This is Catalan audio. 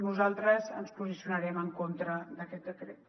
nosaltres ens posicionarem en contra d’aquest decret